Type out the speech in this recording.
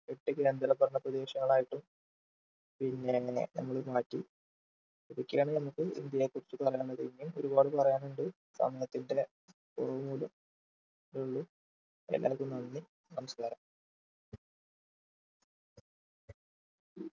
എട്ട് കേന്ദ്രഭരണ പ്രദേശങ്ങളായിട്ട് പിന്നേ ഏർ നമ്മൾ മാറ്റി ഇതൊക്കെയാണ് നമ്മക്ക് ഇന്ത്യയെക്കുറിച്ചു പറയാനുള്ളത് ഇനിയും ഒരുപാട് പറയാനുണ്ട് സമയത്തിന്റെ കുറവുമൂലം ഇത്രയേ ഉള്ളു എല്ലാവർക്കും നന്ദി നമസ്കാരം